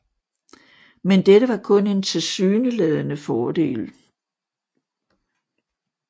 Men dette var kun en tilsyneladende fordel